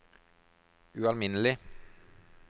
ualminnelig